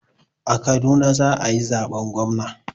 A Kaduna za a yi zaben gwamna.